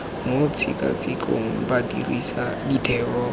mo tshekatshekong ba dirisa ditheo